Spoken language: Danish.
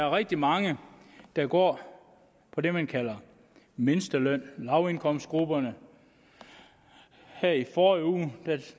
rigtig mange der går på det man kalder mindstelønnen det lavindkomstgrupperne her i forrige uge